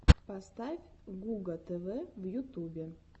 поставь гуга тв в ютубе